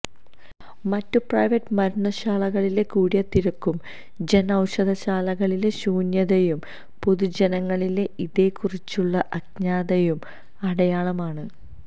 മറ്റ് പ്രൈവറ്റ് മരുന്നുശാലകളിലെ കൂടിയ തിരക്കും ജൻ ഔഷധശാലകളിലെ ശൂന്യയതയും പൊതുജനങ്ങളിലെ ഇതേകുറിച്ചുള്ള അജ്ഞതയുടെ അടയാളമാണ്